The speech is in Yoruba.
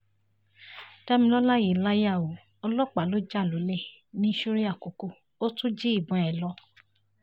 damilọla yìí láyà o ọlọ́pàá ló já lólè ní ṣúrẹ́ àkókò ò tún jí ìbọn ẹ̀ lọ